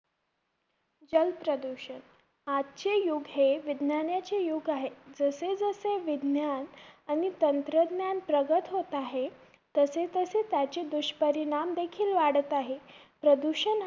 जलप्रदूषण. आजचे युग हे विज्ञानाचे युग आहे. जसे जसे विज्ञान आणि तंत्राज्ञान प्रगत होत आहे, तसे तसे त्याचे दुष्परिणाम देखील वाढत आहे. प्रदूषण हा